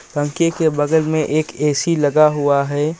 पंखे के बगल मे एक ऐ_सी लगा हुआ हैं.